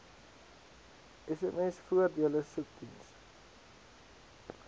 sms voordele soekdiens